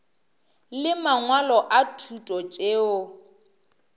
le mangwalo a thuto tšeo